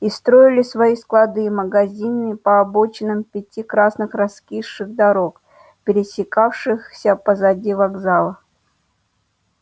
и строили свои склады и магазины по обочинам пяти красных раскисших дорог пересекавшихся позади вокзала